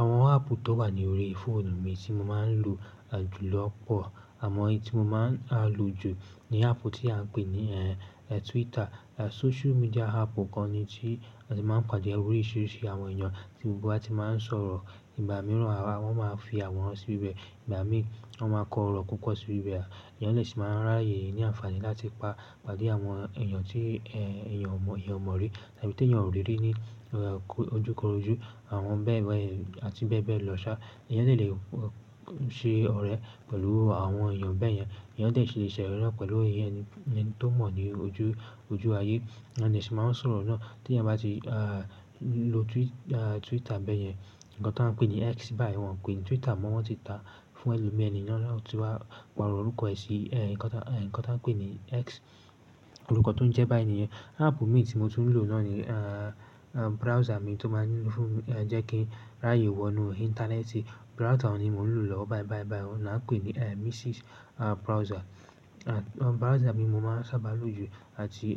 Àwọn áàpù tó wà ní orí fóònù mi tí mo máa ń lò jù lọ̀pọ̀, àmọ́ ohun tí mo máa ń lò jù ni áàpù tí a ń pè ní Twitter. Social media áàpù kan ni, tí a ti máa ń pàdé oríṣìíríṣìí àwọn èèyàn tí gbogbo a ti máa ń sọ̀rọ̀. Ìgbà mìíràn wọ́n máa fi àwòrán sí ibẹ̀, ìgbà mí wọ́n máa kọ ọ̀rọ̀ kúkọ̀ sí ibẹ̀. Ẹ̀yàn lè ṣì máa ráyè ní àǹfààní láti pàdé àwọn èèyàn tí èèyàn mọ̀ orí tàbí tí èèyàn ò rí rí ní ojúkorojú àwọn bẹ́ẹ̀ bẹ́ẹ̀ àti bẹ́ẹ̀ bẹ́ẹ̀ lọ́ṣà. Ẹ̀yàn dè lè ṣe ọ̀rẹ́ pẹ̀lú àwọn èèyàn bẹ́ẹ̀ yẹn. Èèyàn dè ṣile se orẹ̀ na pẹ̀lú ẹni tó mọ̀ ní ojú ayé. Ẹ̀yàn lè ṣì máa ń sọ̀rọ̀ náà tí èèyàn bá ti lo Twitter bẹ́ẹ̀ yẹn. Ǹnkan tí a ń pè ní X báyìí, wọ́n pè ní Twitter mọ́ wọ́n ti tá fún ẹlòmíì, ẹni náà ó ti wá pàrọ̀ orúkọ yìí sí ǹkan tí wọ́n ń pè ní X, orúkọ tó ń jẹ́ báyìí nìyẹn. App míì tí mò tún ń lò náà ni browser mi tó máa ń jẹ kin ráyè wọnú íńtánẹ́ẹ̀tì. Browser ni mò ń lò lọ́wọ́ báì báì báì, ó ni à ń pè ní Misiis Browser. Browser mi mo máa ń sábà lò ju àti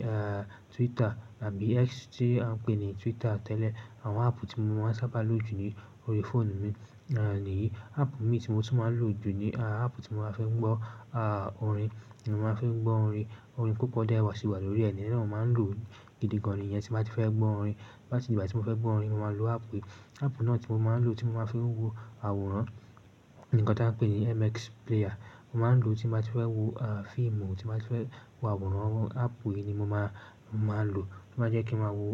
Twitter tàbí X tí a ń pè ní Twitter tẹ́lẹ̀. Àwọn áàpù tí mo máa ń sábà lò jù ní orí fóònù mi nìyí. Áàpù mii tí mo tún máa ń lò jù ni áàpù tí mo máa ń fi gbọ́ orin. Mo máa fi n gbọ́ orin. Orin púpọ̀ dẹ̀ wà sí wà lórí ẹ̀, iyẹn náà mo máa ń lò gidi gan-an ìyẹn tí bá ti fẹ́ gbọ́ orin. Bá ti di ìgbà tí mo fẹ́ gbọ́ orin, mo máa lo áàpù yìí. Áàpù náà tí mo máa ń lò tí mo máa ń fi wo àwòrán ni ǹkan tí a ń pè ní MX Player. Mo máa ń lò ó tí mo bá ti fẹ́ wo fíìmù, tí mo bá ti fẹ́ wo àwòrán. Áàpù yìí ni mo máa lò tí ó bá jẹ́ kí mo wo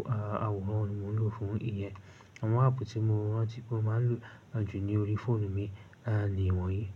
àwòrán, mò ń lò fún ìyẹn. Àwọn áàpù tí mo rántí pé mo máa ń lò jù ní orí fóònù mi niwọn yìí.